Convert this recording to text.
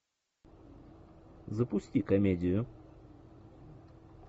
запусти комедию